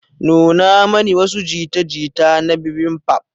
Nuna mani wasu jita-jita na bibimbap.